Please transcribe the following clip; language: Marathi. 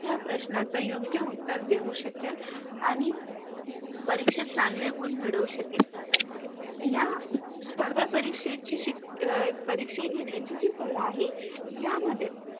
त्या प्रश्नच योग्य उत्तर देऊ शकेल आणि परीक्षेत चांगले गुण मिळवू शकेल. या स्पर्धा परीक्षेची परीक्षा घेण्याची जी कला आहे यामध्ये